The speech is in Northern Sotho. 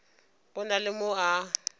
go na le mo a